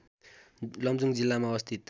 लमजुङ जिल्लामा अवस्थित